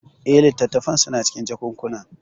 Eh, littattafan suna cikin jakunkuna.